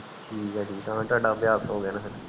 ਠੀਕ ਆ ਠੀਕ ਹੁਣ ਟੋਹੜਾ ਅਭਿਆਸ ਹੋਗਿਆ ਨਾ